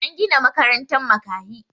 an Gina makarantan makahi